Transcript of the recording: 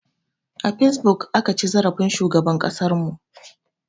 A fesbuk aka ci zarafin shugaban ƙasar mu